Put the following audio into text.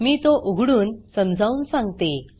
मी तो उघडून समजावून सांगते